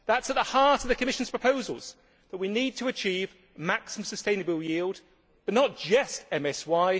That is at the heart of the Commission's proposals that we need to achieve maximum sustainable yield but not just MSY.